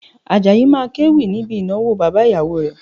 Àjàyí máa kéwì níbi ìnáwó bàbá ìyàwó rẹ̀